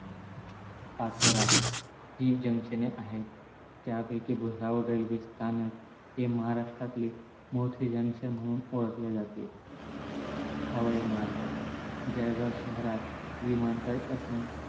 पाचोरा हि junction ने आहेत त्यापैकी भुसावळ railway स्थानक हे महाराष्ट्रातले मोठे junction म्हणुन ओळखले जाते. हवाई मार्ग जळगाव शहरात विमानताळ असून